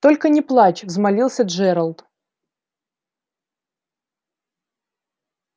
только не плачь взмолился джералд